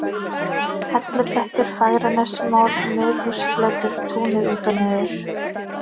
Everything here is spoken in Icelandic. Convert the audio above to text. Hellublettur, Fagranesmór, Miðhúsflötur, Túnið út og niður